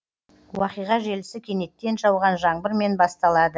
уақиға желісі кенеттен жауған жаңбырмен басталады